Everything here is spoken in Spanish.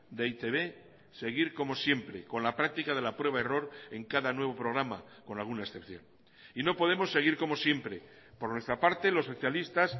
de e i te be seguir como siempre con la práctica de la prueba error en cada nuevo programa con alguna excepción y no podemos seguir como siempre por nuestra parte los socialistas